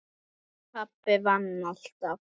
Pabbi vann alltaf.